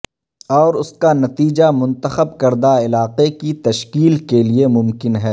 اور اس کا نتیجہ منتخب کردہ علاقے کی تشکیل کے لئے ممکن ہے